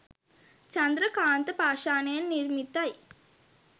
චන්ද්‍රකාන්ත පාෂාණයෙන් නිර්මිතයි.